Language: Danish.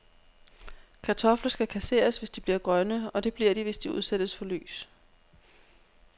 Kartofler skal kasseres, hvis de bliver grønne, og det bliver de, hvis de udsættes for lys.